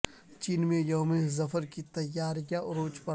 چین میں یوم ظفر کی تیاریاں عروج پر